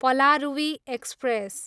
Palaruvi express